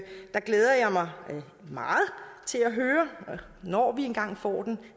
der glæder jeg mig meget til at høre når vi engang får den